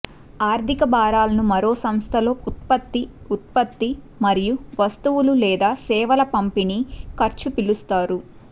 ఆర్థిక భారాలను మరో సంస్థలో ఉత్పత్తి ఉత్పత్తి మరియు వస్తువులు లేదా సేవల పంపిణీ ఖర్చు పిలుస్తారు